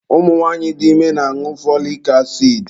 Ụmụ nwanyị dị ime na-añụ fọlik asidi.